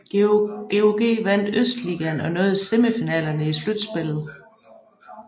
GOG vandt østligaen og nåede semifinalerne i slutsspillet